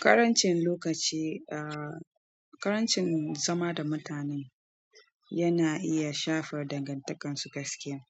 Ƙarancin lokaci, ah, ƙarancin zama da mutanen yana iya shafar dangantakarsu gaskiya.